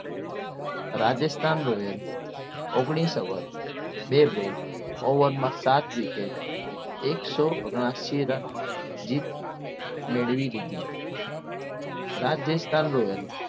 Rajasthan royal એ ઓગણીસ over બે બોલ ઓવરમાં સાત wicket એકસો ઓગનાએસી રન જીત મેળવી લીધી રાજસ્થાન રોયલ